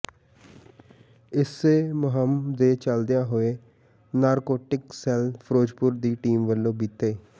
ਇਸੇ ਮੁਹਿੰਮ ਦੇ ਚੱਲਦਿਆਂ ਹੋਇਆ ਨਾਰਕੋਟਿਕ ਸੈੱਲ ਫਿਰੋਜ਼ਪੁਰ ਦੀ ਟੀਮ ਵੱਲੋਂ ਬੀਤੇ